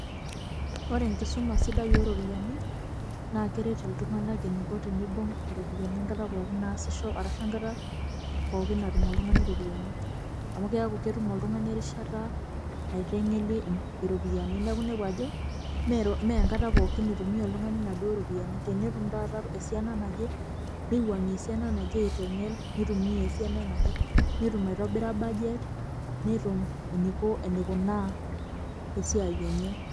Ore enkisuma sidai oo ropiyiani naa keret iltunganak eniko teibung' iropiyiani enkata pookin naasisho arashu enkata pookin natum oltungani iropiyiani amu keeku ketum oltungani erishata naitenkelie iropiyiani neeku inepu ajo mee enkata pookin itumiya oltungani inaauduo ropiyiani, tenetum taata esiana naje niwuangie taata esiana naje nitumiya esiana naje netum aitobira budget netum eneiko enikunaa esiai enye.